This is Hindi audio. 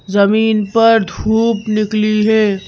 जमीन पर धूप निकली है।